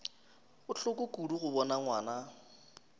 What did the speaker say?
bohloko kudu go bona ngwana